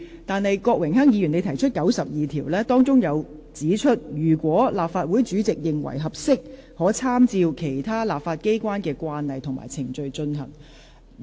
但是，郭榮鏗議員根據《議事規則》第92條提出規程問題，當中指出："如立法會主席認為適合，可參照其他立法機關的慣例及程序處理。